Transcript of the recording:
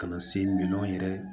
Ka na se minɛnw yɛrɛ